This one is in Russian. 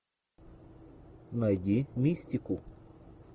найди мистику